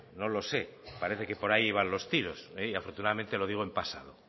no lo sé parece que por ahí iban los tiros afortunadamente lo digo en pasado